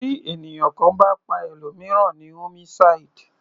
Tí ènìyàn kan bá pa ẹlòmìíràn ni homicide.